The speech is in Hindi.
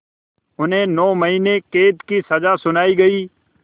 उन्हें नौ महीने क़ैद की सज़ा सुनाई गई